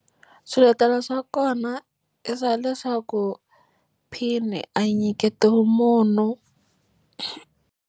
Swiletelo swa kona i swa leswaku pin a yi nyiketiwi munhu.